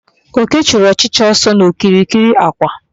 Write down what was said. Oke chụrụ ọchịcha ọsọ n'okirikiri àkwà